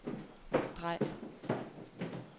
drej